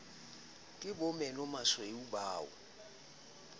ke bo menomasweu ba o